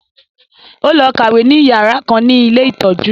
Ó lọ kàwé ní yàrá kan ní ilé ìtọ́jú